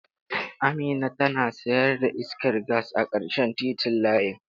Amina tana sayar da iskar gas a ƙarshen titin layina.